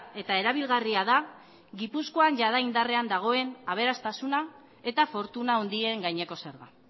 eta erabilgarria da gipuzkoan jada indarrean dagoen aberastasuna eta fortuna handien gaineko zerga